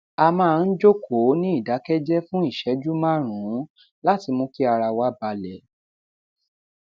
a maa n jókòó ní ìdákéjéé fún ìṣéjú márùnún láti mú kí ara wa bale